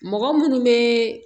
Mɔgɔ munnu be